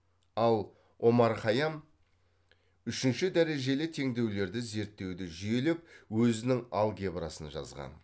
ал омар хайям үшінші дәрежелі теңдеулерді зерттеуді жүйелеп өзінің алгебрасын жазған